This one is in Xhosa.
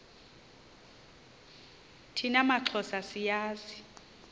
thina maxhosa siyazi